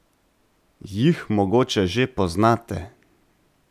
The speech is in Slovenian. Jih mogoče že poznate?